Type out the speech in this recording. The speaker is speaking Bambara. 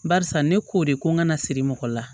Barisa ne k'o de ko n kana siri mɔgɔ la